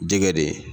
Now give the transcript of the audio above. Jɛgɛ de